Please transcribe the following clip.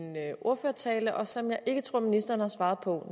ordførertale og som jeg ikke tror ministeren har svaret på